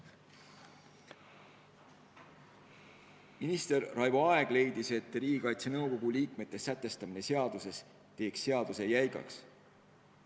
Minister Raivo Aeg leidis, et Riigikaitse Nõukogu liikmete loetelu sätestamine seaduses teeks seaduse jäigaks.